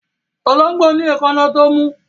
Ológbò ní èkáná tó mú